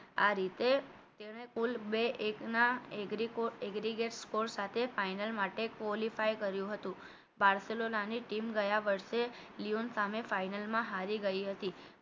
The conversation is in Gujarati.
આ રીતે તેને કુલ બે એકના એક agri gold agregate score સાથે final માટે qualify કર્યું હતું બારસેલોના ની ટીમે ગયા વર્ષે લિયોન સામે final માં હારી ગઈ હતી